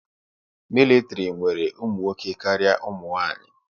Mịlịtịrị nwere ụmụnwoke karịa umunwaanyị